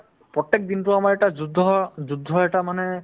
প্ৰত্যেক দিনতো আমাৰ এটা যুদ্ধ হ যুদ্ধ এটা মানে